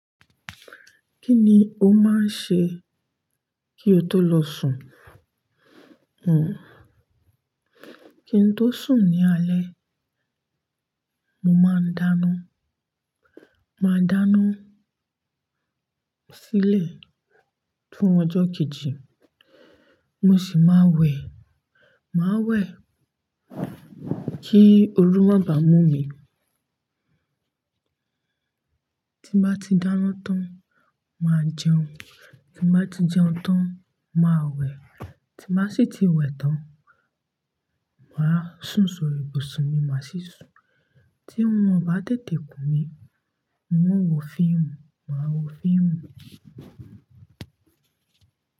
Kí ni o máa ń ṣe kí o tó lọ sùn? Kí n tó sùn ní alẹ́, mo máa ń dáná. Máa dáná sílẹ̀ fún ọjọ́ kejì, mo sì máa wẹ̀. Máa wẹ̀ kí ooru má bà mú mi. Tí mo bá ti dáná tán, màá jẹun. Tí mo bá ti jẹun tán, màá wẹ̀. Tí mo bá sì ti wẹ̀ tán, màá sùn sori ibùsùn mi máa sì sùn. Tí orun o bá tètè kùn mí, hun o wo fíìmù, màá wo fíìmù.